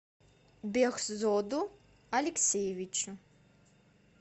бехзоду алексеевичу